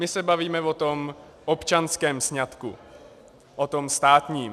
My se bavíme o tom občanském sňatku, o tom státním.